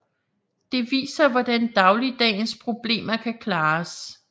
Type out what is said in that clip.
Det viser hvordan dagligdagens problemer kan klares